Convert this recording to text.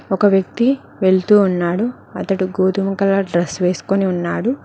ఒక వ్యక్తి వెళ్తూ ఉన్నాడు అతడు గోధుమ కలర్ డ్రెస్ వేసుకొని ఉన్నాడు.